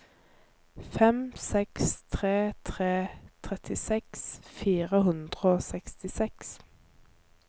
fem seks tre tre trettiseks fire hundre og sekstiseks